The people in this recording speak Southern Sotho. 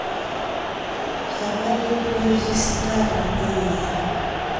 ho ba le rejistara e